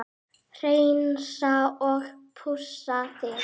Hreinsa og pússa þig?